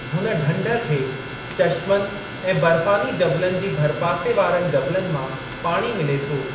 हुन ढंढ खे चशमनि ऐं बर्फ़ानी जबलनि जी भरपासे वारनि जबलनि मां पाणी मिले थो।